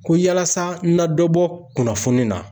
Ko yalasa n na dɔ bɔ kunnafoni na.